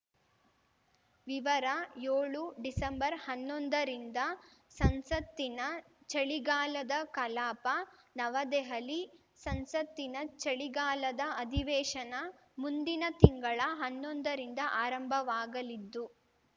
ವಿವರ ಯೋಳು ಡಿಸಂಬರ್ಹನ್ನೊಂದರಿಂದ ಸಂಸತ್ತಿನ ಚಳಿಗಾಲದ ಕಲಾಪ ನವದೆಹಲಿ ಸಂಸತ್ತಿನ ಚಳಿಗಾಲದ ಅಧಿವೇಶನ ಮುಂದಿನ ತಿಂಗಳ ಹನ್ನೊಂದರಿಂದ ಆರಂಭವಾಗಲಿದ್ದು